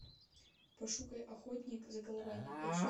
пошукай охотник за головами эйч ди